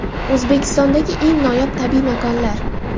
O‘zbekistondagi eng noyob tabiiy makonlar.